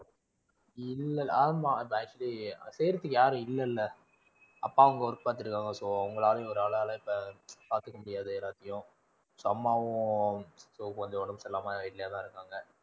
இல்லல, ஆமாம் actually செய்யறத்துக்கு யாரும் இல்லல. அப்பாவும் அங்க work பாத்திட்டு இருக்காங்க so அவங்களால, ஒரு ஆளால பாத்துக்க முடியாது எல்லாத்தையும் so அம்மாவும் கொஞ்சம் உடம்பு சரியில்லாம வீட்லயே தான் இருக்காங்க.